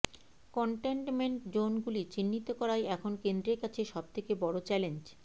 contentment zone গুলি চিহ্নিত করাই এখন কেন্দ্রের কাছে সবথেকে বড় চ্যালেঞ্জ